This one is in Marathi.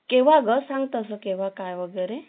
केव्हा ग सांग तास केव्हा काय वेगैरे